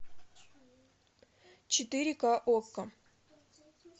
четыре ка окко